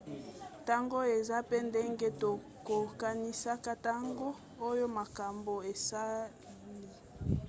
ntango eza pe ndenge tokokanisaka ntango molai oyo makamabo esali